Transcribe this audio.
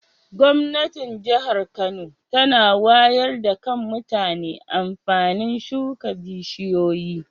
Gwamnatin jahar Kano tana wayar da Kan mutane amfanin suka bishiyoyi.